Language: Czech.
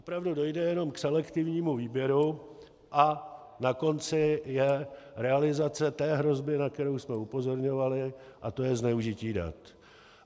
Opravdu dojde jenom k selektivnímu výběru a na konci je realizace té hrozby, na kterou jsme upozorňovali, a to je zneužití dat.